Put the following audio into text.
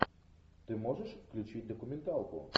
ты можешь включить документалку